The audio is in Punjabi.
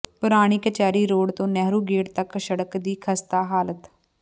ਪੁਰਾਣੀ ਕਚਹਿਰੀ ਰੋਡ ਤੋਂ ਨਹਿਰੂ ਗੇਟ ਤੱਕ ਸੜਕ ਦੀ ਖਸਤਾ ਹਾਲਤ